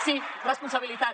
sí responsabilitat